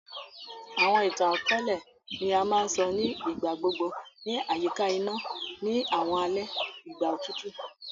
Àwọn ìtàn-àkóòlẹ̀ ni a ma n so ni ìgbà gbogbo ni àyíká iná ni àwọn alẹ ìgbà otutu.